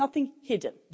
there's nothing hidden.